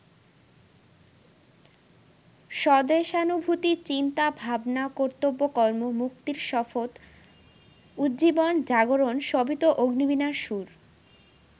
স্বদেশানুভূতি, চিন্তা, ভাবনা, কর্তব্যকর্ম, মুক্তির শপথ, উজ্জীবন, জাগরণ সবই তো অগ্নিবীণার সুর।